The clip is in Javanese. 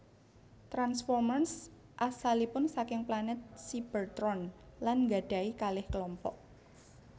Transformers asalipun saking planet Cybertron lan nggadhahi kalih klompok